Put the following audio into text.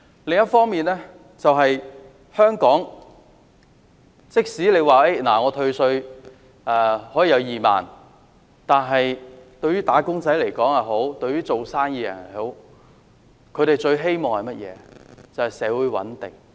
此外，即使政府退稅2萬元，對於"打工仔"或做生意的人來說，他們最希望的是社會穩定。